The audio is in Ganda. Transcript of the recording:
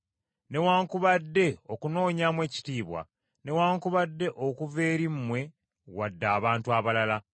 newaakubadde okunoonyaamu ekitiibwa, newaakubadde okuva eri mmwe wadde abantu abalala,